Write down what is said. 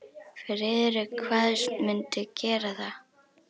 Friðrik kvaðst mundu gera það.